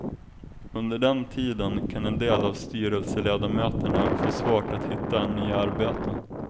Under den tiden kan en del av styrelseledamöterna få svårt att hitta nya arbeten.